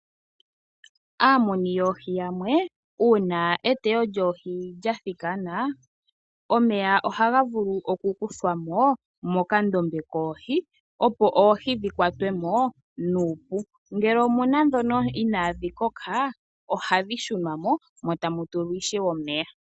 Aamuni yoohi yamwe uuna eteyo lyoohi lyathikana, omeya ohaga vulu okukuthwa mo mokandombe koohi opo oohi dhikwatwe mo nuupu. Ngele omuna ndhono inaadhi koka ohadhi shunwa mo, mo tamu tulwa ishewe omeya.